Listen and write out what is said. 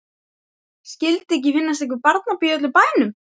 Skyldi ekki finnast einhver barnapía í öllum bænum.